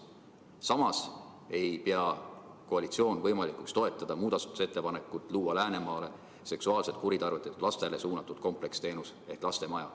Samas ei pea koalitsioon võimalikuks toetada muudatusettepanekut, et luua Läänemaale seksuaalselt kuritarvitatud lastele suunatud kompleksteenus ehk lastemaja.